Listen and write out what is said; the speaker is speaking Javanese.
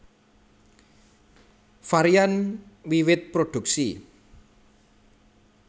Varian wiwit produksi